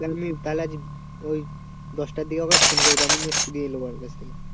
তাহলে আজ ওই দশটার দিকে ওকে একবার ফোন করবো